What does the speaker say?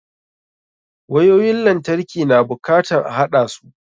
Wayoyin lantarki na bukatan a haɗasu.